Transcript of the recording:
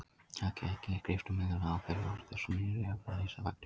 Þekkt efni skipta milljónum og á hverju ári er þúsundum nýrra efna lýst í fagtímaritum.